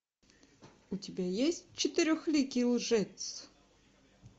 у тебя есть четырехликий лжец